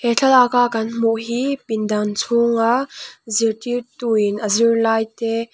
he thlalaka kan hmuh hi pindan chhunga zirtirtuin a zirlai te.